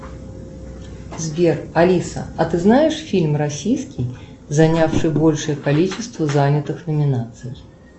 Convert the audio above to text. сбер алиса а ты знаешь фильм российский занявший большее количество занятых номинаций